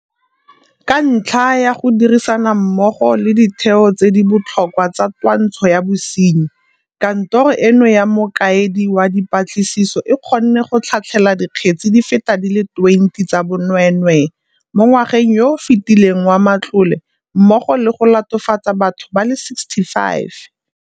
Ka ntlha ya go dirisana mmogo le ditheo tse di botlhokwa tsa twantsho ya bosenyi, Kantoro eno ya Mokaedi wa Dipatlisiso e kgonne go tlhatlhela dikgetse di feta di le 20 tsa bonwee nwee mo ngwageng yo o fetileng wa matlole mmogo le go latofatsa batho ba le 65.